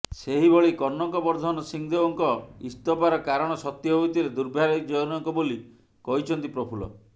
ସେହିଭଳି କନକବର୍ଦ୍ଧନ ସିଂହଦେଓଙ୍କ ଇସ୍ତଫାର କାରଣ ସତ୍ୟ ହୋଇଥିଲେ ଦୁର୍ଭାଗ୍ୟଜନକ ବୋଲି କହିଛନ୍ତି ପ୍ରଫୁଲ୍ଲ